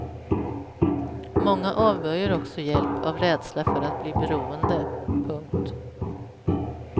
Många avböjer också hjälp av rädsla för att bli beroende. punkt